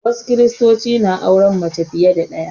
Wasu Kiristocin na auren mace fiye da ɗaya